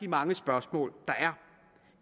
mange spørgsmål der er